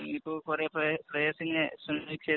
ഇപ്പൊ കൊറേ